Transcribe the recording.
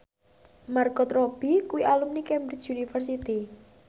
Margot Robbie kuwi alumni Cambridge University